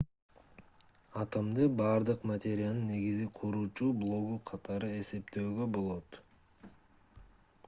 атомду бардык материянын негизги куруучу блогу катары эсептөөгө болот